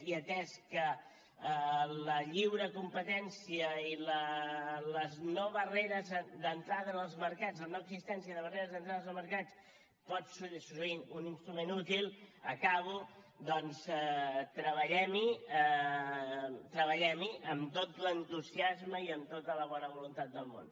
i atès que la lliure competència i les no barreres d’entrada en els mercats la no existència de barreres d’entrada en els mercats pot ser un instrument útil acabo doncs treballem hi treballem hi amb tot l’entusiasme i amb tota la bona voluntat el món